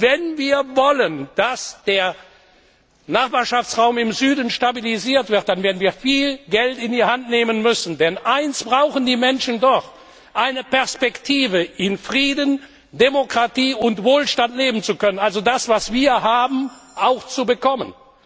Wenn wir wollen, dass der Nachbarschaftsraum im Süden stabilisiert wird, werden wir viel Geld in die Hand nehmen müssen. Denn eines brauchen die Menschen dort eine Perspektive, in Frieden, Demokratie und Wohlstand leben zu können, also das, was wir haben, auch zu bekommen.